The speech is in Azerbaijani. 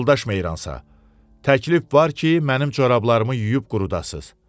Yoldaş Meyransa, təklif var ki, mənim corablarımı yuyub qurudasız.